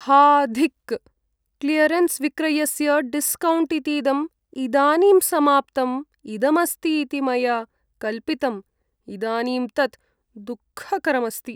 हा धिक् क्लियरेन्स् विक्रयस्य डिस्कौण्ट् इतीदं इदानीं समाप्तम् इदमस्ति इति मया कल्पितम्, इदानीं तत् दुःखकरम् अस्ति।